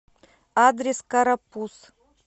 адрес карапуз